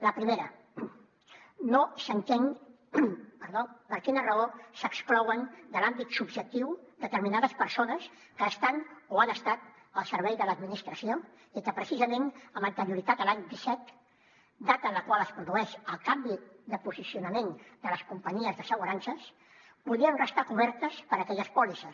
la primera no s’entén perdó per quina raó s’exclouen de l’àmbit subjectiu determinades persones que estan o han estat al servei de l’administració i que precisament amb anterioritat a l’any disset data en la qual es produeix el canvi de posicionament de les companyies d’assegurances podien restar cobertes per aquelles pòlisses